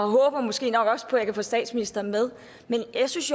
håber måske også at jeg kan få statsministeren med men jeg synes